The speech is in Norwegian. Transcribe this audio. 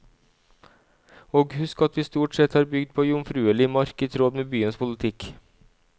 Og husk at vi stort sett har bygd på jomfruelig mark i tråd med byens politikk.